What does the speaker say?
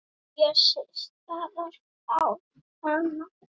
Bjössi starir á hana.